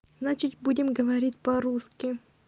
значит будем говорить по-русски